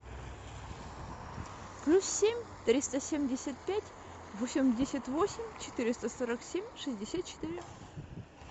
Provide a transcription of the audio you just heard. плюс семь триста семьдесят пять восемьдесят восемь четыреста сорок семь шестьдесят четыре